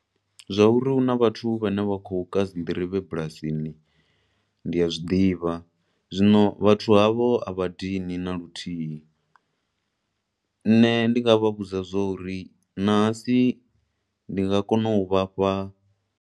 Zwauri huna vhathu vhane vha khou ka dzi nḓirivhe dzi bulasini, ndi a zwiḓivha. Zwino vhathu havho a vha dini na luthuhi. Nṋe ndi nga vha vhudza zwo uri ṋahasi ndi nga kona u vhafha.